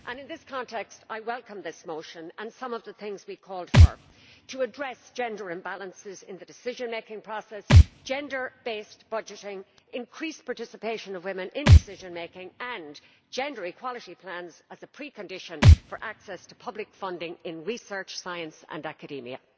In this context, I welcome this motion and some of the things we called for to address gender imbalances in the decision making process gender based budgeting, the increased participation of women in decision making, and gender equality plans as a precondition for access to public funding in research, science and academia.